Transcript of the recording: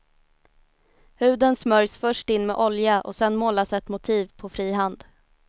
Huden smörjs först in med olja och sedan målas ett motiv på fri hand.